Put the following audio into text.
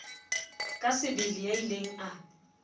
ka sebele ya ileng a